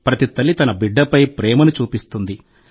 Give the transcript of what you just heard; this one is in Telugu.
ప్రతి తల్లి తన బిడ్డపై ప్రేమను చూపిస్తుంది